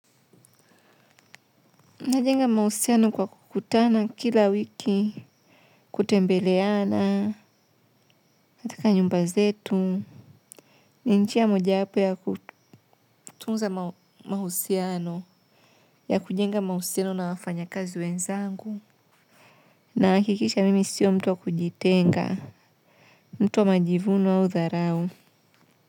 Najenga mahusiano kwa kukutana kila wiki, kutembeleana katika nyumba zetu. Ni njia moja wapo ya kutunza mahusiano, ya kujenga mahusiano na wafanyakazi wenzangu. Nahakikisha mimi sio mtu wa kujitenga, mtu wa majivuno au dharau.